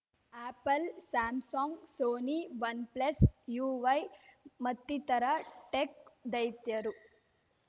apple Samsung Sony OnePlus ಯುವೈ ಮತ್ತಿತರ tech ದೈತ್ಯರು